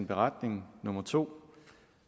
beretning nummer to